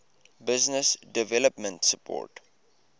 business development support